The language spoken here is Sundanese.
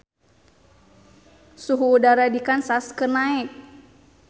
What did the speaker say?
Suhu udara di Kansas keur naek